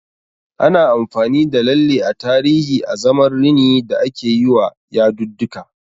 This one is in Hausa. Ana amfani da lalle a tarihi azaman rini da akeyiwa yadudduka.